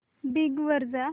Bing वर जा